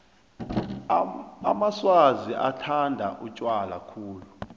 amaswazi bathanda utjwala khulu